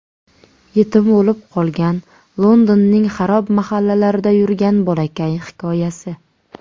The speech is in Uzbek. Yetim bo‘lib qolgan, Londonning xarob mahallalarida yurgan bolakay hikoyasi.